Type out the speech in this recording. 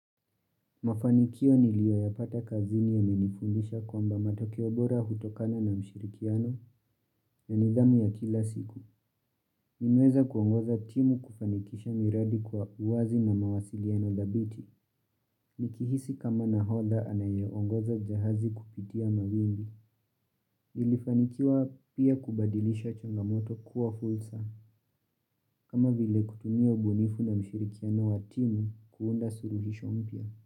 Mafanikio nilioyapata kazini yamenifundisha kwamba matokeo bora hutokana na mshirikiano na nidhamu ya kila siku. Nimeweza kuongoza timu kufanikisha miradi kwa uwazi na mawasiliano dhabiti. Nikihisi kama nahodha anayeongoza jahazi kupitia mawimbi. Nilifanikiwa pia kubadilisha changamoto kuwa fursa. Kama vile kutumia ubunifu na mshirikiano wa timu kuunda suluhisho mpia.